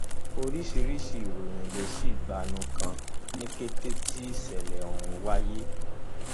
oríṣiríṣi ìròyìn ló sì gbalú kan ní kété tí ìṣẹlẹ ọhún wáyé